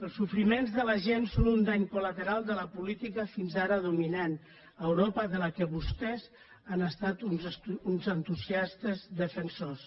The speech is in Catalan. els sofriments de la gent són un dany col·lateral de la política fins ara dominant a europa de la qual vostès han estat uns entusiastes defensors